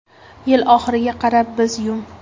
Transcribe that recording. Yil oxiriga qadar biz Yum!